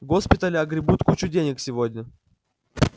госпитали огребут кучу денег сегодня